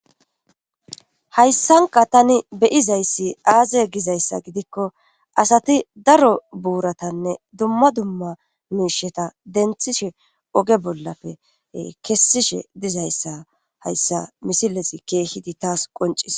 Hayssanka tani beyizayssi aaze gizayssa gidikko asati daro buuratanne dumma dumma miisheta denthishe oge bollappe kessishe dizayssa hayssa misilesi keehidi taas qoncis.